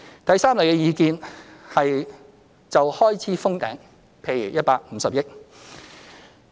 第三類意見是就開支"封頂"，譬如150億元。